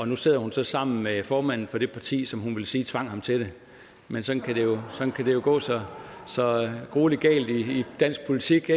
nu sidder hun så sammen med formanden for det parti som hun vil sige tvang hende til det men sådan kan det jo gå så så gruelig galt i dansk politik